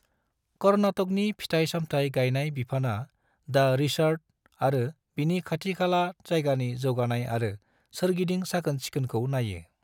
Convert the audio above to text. कर्नाटकनि फिथाइ-सामथाइ गायनाय बिफानआ दा रिसॉर्ट आरो बिनि खाथिखाला जायगानि जौगानाय आरो सोरगिदिं साखोन-सिखोनखौ नायो।